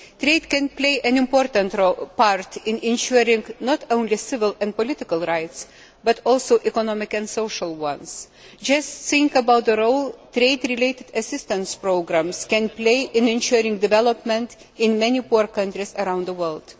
Trade can play an important part in ensuring not only civil and political rights, but also economic and social ones. Just think about the role that trade related assistance programmes can play in ensuring development in many poor countries around the world.